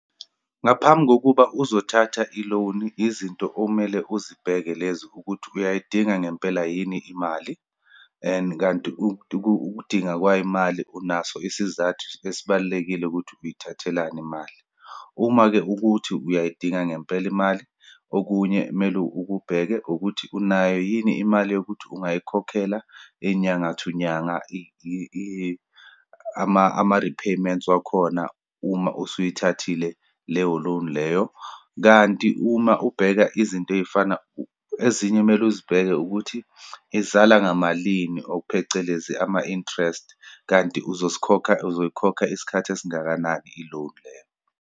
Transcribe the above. Ngaphambi kokuba uzothatha i-loan, yizinto okumele uzibheke lezi ukuthi uyayidinga ngempela yini imali and kanti ukudinga kwayimali, unaso isizathu esibalulekile ukuthi uyithathelani imali. Uma-ke ukuthi uyayidinga ngempela imali, okunye mele ukubheke ukuthi unayo yini imali yokuthi ungayikhokhela inyanga to nyanga ama-repayments wakhona uma usuyithathile leyo loan leyo. Kanti uma ubheka izinto eyifana, ezinye mele uzibheke, ukuthi izala ngamalini or phecelezi ama-interest, kanti uzosikhokha, uzoyikhokha isikhathi esingakanani i-loan leyo.